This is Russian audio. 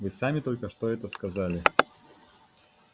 вы сами только что это сказали